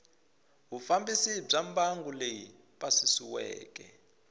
vufambisi bya mbangu leyi pasisiweke